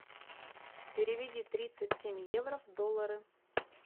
переведи тридцать семь евро в доллары